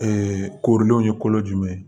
koorilenw ye kolo jumɛn